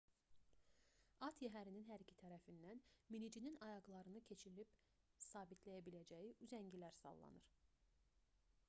at yəhərinin hər iki tərəfindən minicinin ayaqlarını keçirib sabitləyə biləcəyi üzəngilər sallanır